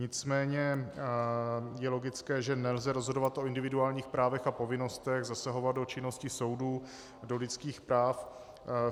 Nicméně je logické, že nelze rozhodovat o individuálních právech a povinnostech, zasahovat do činnosti soudů, do lidských práv.